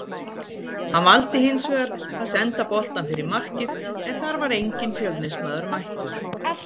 Hann valdi hinsvegar að senda boltann fyrir markið en þar var enginn Fjölnismaður mættur.